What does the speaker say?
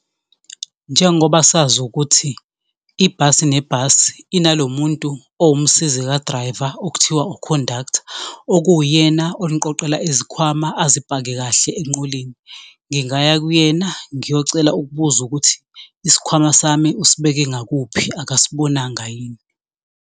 Njengoba sazi ukuthi, ibhasi nebhasi inalo muntu owumsizi ka-driver, okuthiwa ukhondaktha, okuwuyena oniqoqela izikhwama azipake kahle enqoleni. Ngingaya kuyena ngiyocela ukubuza ukuthi isikhwama sami usibeke ngakuphi akayibonanga yini.